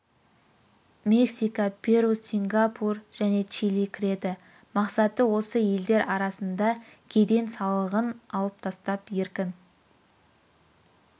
мексика перу сингапур және чили кіреді мақсаты осы елдер арасында кеден салығын алып тастап еркін